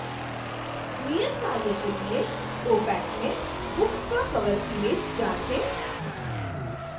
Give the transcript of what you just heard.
नियतकार्य के लिए opac में books का कवर इमैज जाँचें